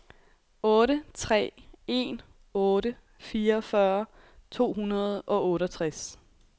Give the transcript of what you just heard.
otte tre en otte fireogfyrre to hundrede og otteogtres